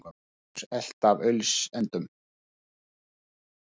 Sigur Rós elt af auglýsendum